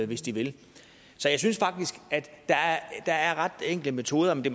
hvis de vil så jeg synes faktisk at der er ret enkle metoder men det